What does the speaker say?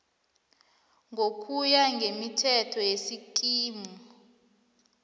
ngokuya ngemithetho yesikimu